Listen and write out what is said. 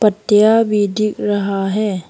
पत्तियां भी दिख रहा है।